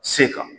Se kan